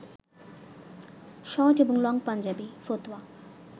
short ও long Punjabi, ফতুয়া